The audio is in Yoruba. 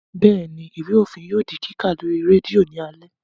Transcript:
Bẹ́ẹ̀ni, Ìwé òfin yóò di kíkà lórí rédíò ní alé